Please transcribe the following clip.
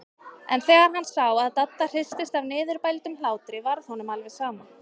En þegar hann sá að Dadda hristist af niðurbældum hlátri varð honum alveg sama.